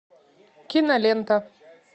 кинолента